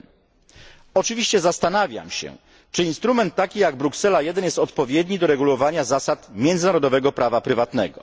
1. Oczywiście zastanawiam się czy instrument taki jak Bruksela 1 jest odpowiedni do regulowania zasad międzynarodowego prawa prywatnego.